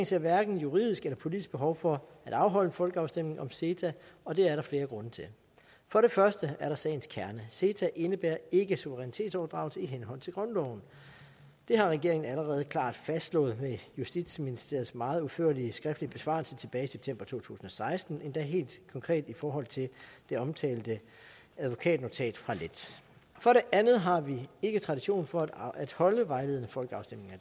ser hverken juridisk eller politisk et behov for at afholde en folkeafstemning om ceta og det er der flere grunde til for det første er der sagens kerne ceta indebærer ikke suverænitetsoverdragelse i henhold til grundloven det har regeringen allerede klart fastslået med justitsministeriets meget udførlige skriftlige besvarelse tilbage i september to tusind og seksten endda helt konkret i forhold til det omtalte advokatnotat fra lett for det andet har vi ikke tradition for at holde vejledende folkeafstemninger